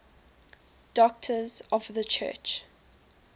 doctors of the church